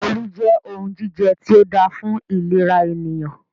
Olú jẹ́ ohun jíjẹ tí o dáa fún ìlera ènìyàn.